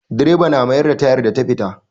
Direba na mayar da tayar da ta fita.